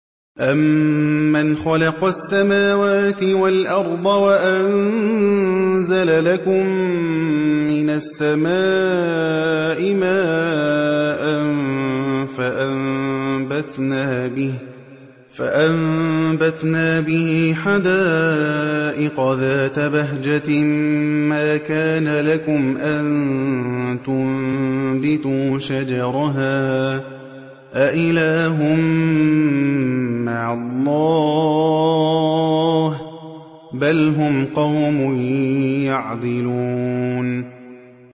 أَمَّنْ خَلَقَ السَّمَاوَاتِ وَالْأَرْضَ وَأَنزَلَ لَكُم مِّنَ السَّمَاءِ مَاءً فَأَنبَتْنَا بِهِ حَدَائِقَ ذَاتَ بَهْجَةٍ مَّا كَانَ لَكُمْ أَن تُنبِتُوا شَجَرَهَا ۗ أَإِلَٰهٌ مَّعَ اللَّهِ ۚ بَلْ هُمْ قَوْمٌ يَعْدِلُونَ